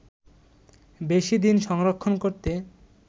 বেশি দিন সংরক্ষণ করতে